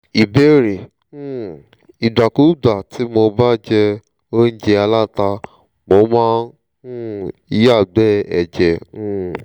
ìbéèrè: um ìgbàkúùgbà tí mo bá jẹ óújẹ aláta mo máa ń um yàgbẹ́ ẹ̀jẹ̀ um